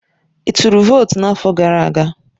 Ị tụrụ votu n'afọ gara aga?